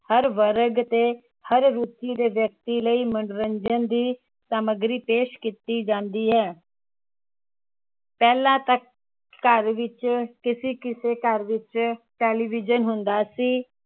ਵਰਗ ਤੇ ਹਰ ਦੇ ਮਨੋਰੰਜਨ ਦੀ ਸਮਗਰੀ ਪੇਸ਼ ਕੀਤੀ ਜਾਂਦੀ ਹੈ ਪਹਿਲਾਂ ਤਾਂ ਘਰ ਵਿਚ ਕਿਸੇ ਕਿਸੇ ਘਰ ਵਿਚ television ਹੁੰਦਾ ਸੀ